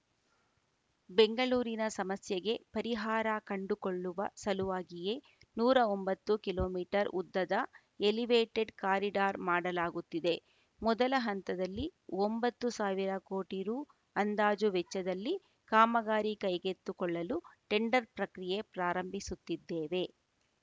ಬೆಂಗಳೂರಿನ ಸಮಸ್ಯೆಗೆ ಪರಿಹಾರ ಕಂಡುಕೊಳ್ಳುವ ಸಲುವಾಗಿಯೇ ನೂರ ಒಂಭತ್ತು ಕಿಮೀ ಉದ್ದದ ಎಲಿವೇಟೆಡ್‌ ಕಾರಿಡಾರ್‌ ಮಾಡಲಾಗುತ್ತಿದೆ ಮೊದಲ ಹಂತದಲ್ಲಿ ಒಂಭತ್ತು ಸಾವಿರ ಕೋಟಿ ರು ಅಂದಾಜು ವೆಚ್ಚದಲ್ಲಿ ಕಾಮಗಾರಿ ಕೈಗೆತ್ತಿಕೊಳ್ಳಲು ಟೆಂಡರ್‌ ಪ್ರಕ್ರಿಯೆ ಪ್ರಾರಂಭಿಸುತ್ತಿದ್ದೇವೆ